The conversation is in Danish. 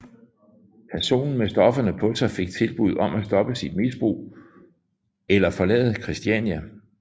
Personen med stofferne på sig fik tilbuddet om at stoppe sit misbrug eller forlade Christiania